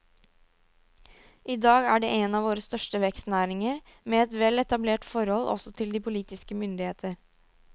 I dag er det en av våre største vekstnæringer, med et vel etablert forhold også til de politiske myndigheter.